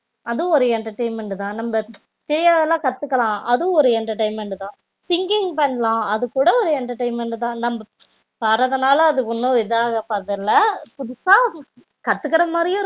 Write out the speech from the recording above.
அதுவும் வந்து ஒரு entertainment தா தெரியாததுலாம் கத்துக்கலாம் அதுவும் ஒரு entertainment தா singing பண்ணலாம் அதுகூட ஒரு entertainment தா